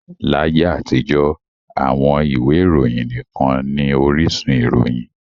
Láyé àtijọ́, àwọn ìwé ìròyìn nikan ni orísun ìròyìn.